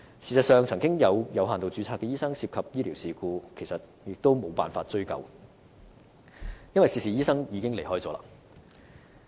事實上，以往曾有有限度註冊醫生涉及醫療事故，但最終也無法追究，因為涉事醫生已經離開。